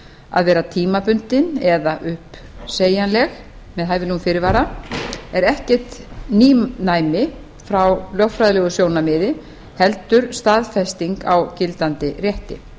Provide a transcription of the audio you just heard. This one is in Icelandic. að vera tímabundin eða uppsegjanleg með hæfilegum fyrirvara er ekkert nýnæmi frá lögfræðilegu sjónarmiði heldur staðfesting á gildandi rétti